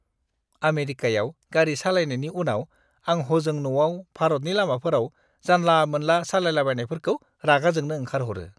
आमेरिकायाव गारि सालायनायनि उनाव, आं हजों न'आव भारतनि लामाफोराव जानला-मोनला सालायलाबायनायफोरखौ रागा जोंनो ओंखारहरो!